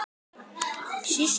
aftur komið á.